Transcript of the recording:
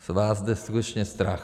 Z vás jde skutečně strach.